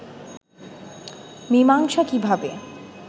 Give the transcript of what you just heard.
মীমাংসা কিভাবে